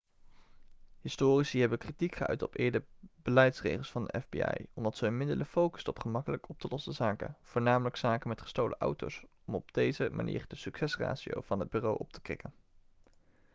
historici hebben kritiek geuit op eerdere beleidsregels van de fbi omdat ze hun middelen focusten op gemakkelijk op te lossen zaken voornamelijk zaken met gestolen auto's om op deze manier de succesratio van het bureau op te krikken